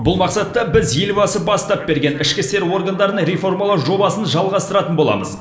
бұл мақсатта біз елбасы бастап берген ішкі істер органдарын реформалау жобасын жалғастыратын боламыз